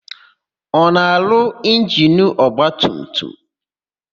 Ọ na-arụ injinu ọgbatumtum?